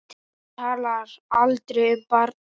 Hún talar aldrei um barnið.